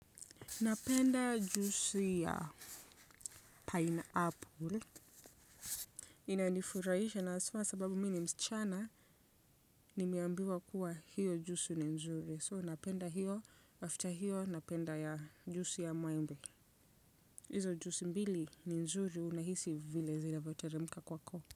Napenda juisi ya pineapple. Inanifurahisha na hasa sababu mimi ni msichana nimeambiwa kuwa hiyo juisi ni nzuri so napenda hiyo after hiyo napenda juisi ya maembe. Hizo juisi mbili ni nzuri unahisi vile zinavyoteremka kwako.